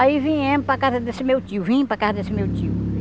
Aí viemos para casa desse meu tio, vim para casa desse meu tio.